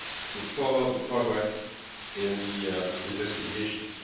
to follow the progress in the investigations.